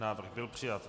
Návrh byl přijat.